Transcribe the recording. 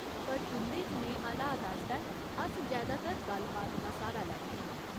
पर तुं'दे जनेहे हालात आस्तै अस जैदातर गल्ल बात दा स्हारा लैन्ने आं।